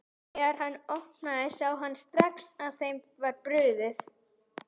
Þegar hann opnaði sá hann strax að þeim var brugðið.